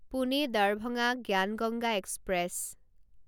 Pune Darbhanga Gyan Ganga express